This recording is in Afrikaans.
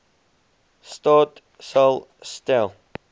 staat sal stel